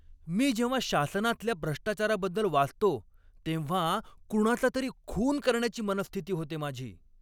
मी जेव्हा शासनातल्या भ्रष्टाचाराबद्दल वाचतो तेव्हा कुणाचा तरी खून करण्याची मनःस्थिती होते माझी.